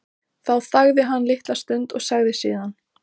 Þá þagði hann litla stund og sagði síðan